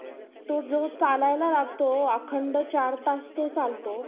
जे यशसवी जीवनासाठी टाळता येत नाही आपण असे म्हणू शकतो कि महाविद्यालय हे केवळ एक शैक्षणीक संस्था नाही तर महाविद्यालय हम्म